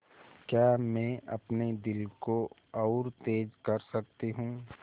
क्या मैं अपने दिल को और तेज़ कर सकती हूँ